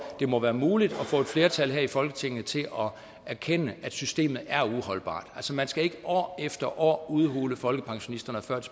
det må være muligt at få et flertal her i folketinget til at erkende at systemet man skal ikke år efter år udhule folkepensionisternes og